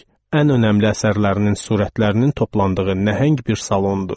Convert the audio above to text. Ən önəmli əsərlərinin sürətlərinin toplandığı nəhəng bir salondur.